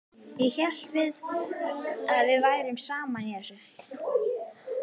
Ég hélt við værum saman í þessu.